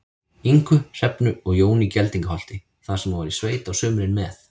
Ingu, Hrefnu og Jóni í Geldingaholti, þar sem hún var í sveit á sumrin með